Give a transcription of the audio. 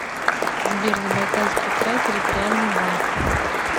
сбер забайкальский край территориальный банк